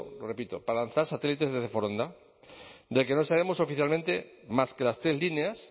lo repito para lanzar satélites desde foronda del que no sabemos oficialmente más que las tres líneas